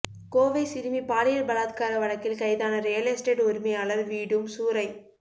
கோவை சிறுமி பாலியல் பலாத்கார வழக்கில் கைதான ரியல் எஸ்டேட் உரிமையாளர் வீடும் சூறை